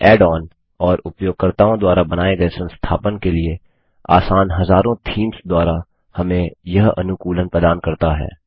add on और उपयोगकर्ताओं द्वारा बनाए गए संस्थापन के लिए आसान हज़ारों थीम्स द्वारा हमें यह अनुकूलन प्रदान करता है